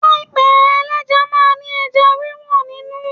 Páì ẹlẹ́ja máa ń ní ẹja wíwó nínú.